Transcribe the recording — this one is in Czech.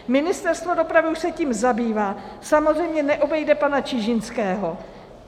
Ministerstvo dopravy už se tím zabývá, samozřejmě neobejde pana Čižinského.